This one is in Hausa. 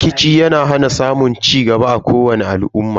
Rikici yana hana samun cigaba a kowani al'umma.